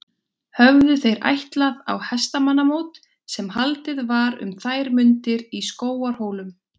Höfðu þeir ætlað á hestamannamót sem haldið var um þær mundir í Skógarhólum.